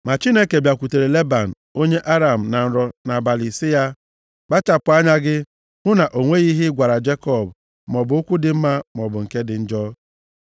Ma Chineke bịakwutere Leban onye Aram na nrọ nʼabalị sị ya, “Kpachapụ anya gị, hụ na o nweghị ihe ị gwara Jekọb, maọbụ okwu dị mma, maọbụ nke dị njọ.”